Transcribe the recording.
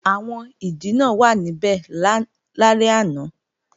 Àwọn ìdìnà wàá níbẹ̀ lálẹ́ àná